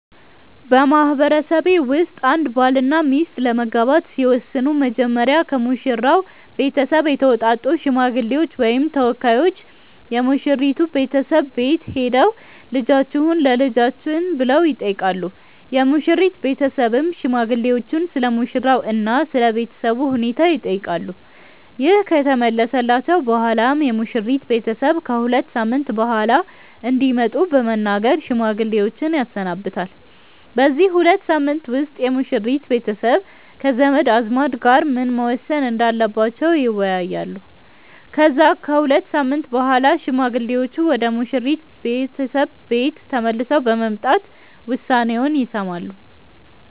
በማህበረሰቤ ውስጥ አንድ ባልና ሚስት ለመጋባት ሲወስኑ መጀመሪያ ከሙሽራው ቤተሰብ የተውጣጡ ሽማግሌዎች ወይም ተወካዮች የሙሽራይቱ ቤተሰብ ቤት ሄደው "ልጃችሁን ለልጃችን" ብለው ይጠይቃሉ። የሙሽሪት ቤተሰብም ሽማግሌዎቹን ስለሙሽራው እና ስለ ቤተሰቡ ሁኔታ ይጠይቃሉ። ይህ ከተመለሰላቸው በኋላም የሙሽሪት ቤተሰብ ከ ሁለት ሳምንት በኋላ እንዲመጡ በመናገር ሽማግሌዎችን ያሰናብታል። በዚህ ሁለት ሳምንት ውስጥ የሙሽሪት ቤተሰብ ከዘመድ አዝማድ ጋር ምን መወሰን እንዳለባቸው ይወያያሉ። ከዛ ከሁለት ሳምንት በኋላ ሽማግሌዎቹ ወደ ሙሽሪት ቤተሰብ ቤት ተመልሰው በመምጣት ውሳኔውን ይሰማሉ።